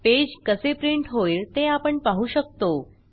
page कसे print होईल ते आपण पाहू शकतो